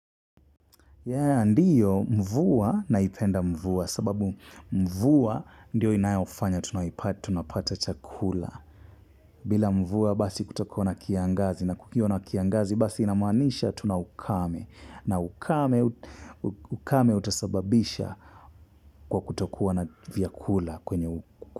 Ndiyo mvua naipenda mvua sababu mvua ndiyo inayofanya tunapata chakula. Bila mvua basi kutakuwa na kiangazi na kukiwa na kiangazi basi inamanisha tunaukame. Na ukame ukame utasababisha kwa kutokuwa na vyakula kwenye uku.